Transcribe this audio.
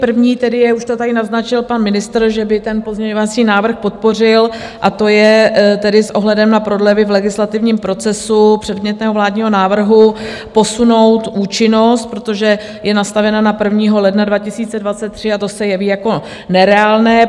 První tedy je, už to tady naznačil pan ministr, že by ten pozměňovací návrh podpořil, a to je tedy s ohledem na prodlevy v legislativním procesu předmětného vládního návrhu posunout účinnost, protože je nastavena na 1. ledna 2023, a to se jeví jako nereálné.